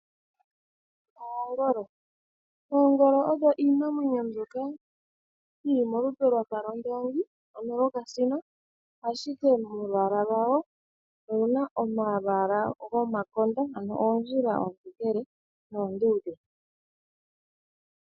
Oongolo, Oongolo odho iinamwenyo mbyoka yili molupe lwafa lwOndoongi ano yo kasino, ashike molwaala lwawo oyina omalwaala go makonda ano oondjila oontokele noonduudhe.